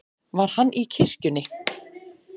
Var hann í kirkjunni?